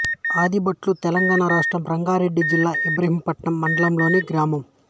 ఆదిబట్ల తెలంగాణ రాష్ట్రం రంగారెడ్డి జిల్లా ఇబ్రహీంపట్నం మండలంలోని గ్రామం